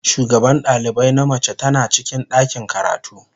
shugaban dalibai na mace tana cikin ɗakin karatu.